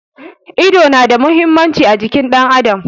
Ido na da muhimmanci a jikin ɗan adam.